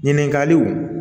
Ɲininkaliw